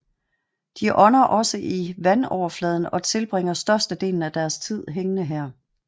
De ånder også i vandoverfladen og tilbringer størstedelen af deres tid hængende her